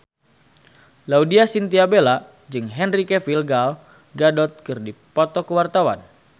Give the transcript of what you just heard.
Laudya Chintya Bella jeung Henry Cavill Gal Gadot keur dipoto ku wartawan